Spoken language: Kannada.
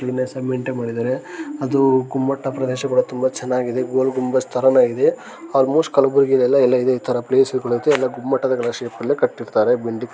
ಕ್ವೀನ್ಲಿನೆಸ್ಸ್ ಮೈನ್ಟೈನ್ ಮಾಡಿದ್ದಾರೆ ಅದು ಗುಮ್ಮಟ ಪ್ರದೇಶ ಕೂಡ ತುಂಬ ಚೆನ್ನಾಗಿ ಇದೆ ಗೋಲ್ ಗುಂಬಸ್ ತರನೂ ಇದೆ ಆಲ್ಮೋಸ್ಟ್ ಕಲಬುರ್ಗಿ ಆಗಿ ಎಲ್ಲಾನು ಇದೆ ಎಲ್ಲ ಇದೆ ತಾರಾ ಪ್ಲೇಸ್ಗು ಳೆಲ್ಲ ಎಲ್ಲ ಗುಮ್ಮಟಗಳ ಶೇಪ್ ಅಲ್ಲೇ ಕಟ್ಟಿರ್ತರೆ ಬಿಲ್ಲ್ಡಿಂಗ್ಸ್ .